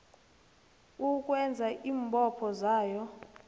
ukwenza iimbopho zayo